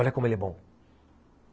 Olha como ele é bom.